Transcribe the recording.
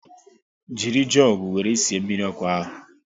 Jiri jugu wéré sie mmiri ọkụ ahu